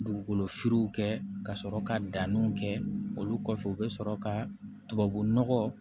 Dugukolofiriw kɛ ka sɔrɔ ka danniw kɛ olu kɔfɛ u bɛ sɔrɔ ka tubabu nɔgɔ